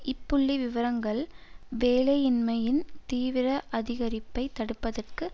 இப்புள்ளி விவரங்கள் வேலையின்மையின் தீவிர அதிகரிப்பை தடுப்பதற்கு